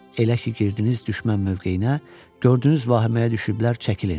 Elə ki, girdiniz düşmən mövqeyinə, gördünüz vahiməyə düşüblər, çəkilin.